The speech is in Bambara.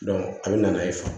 a bɛ na n'a ye